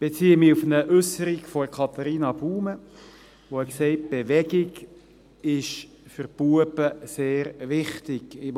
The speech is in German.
» Ich beziehe mich auf eine Äusserung von Katharina Baumann, die gesagt hat, Bewegung sei für die Buben sehr wichtig.